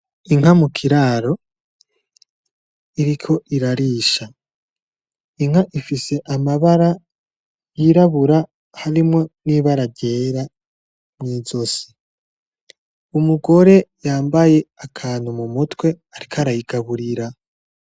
Inka mu kiraro iriko irarisha, inka ifise amabara y'irabura harimwo nibara ryera mwi zosi. Umugore yambaye akantu mu mutwe ariko arayigaburira.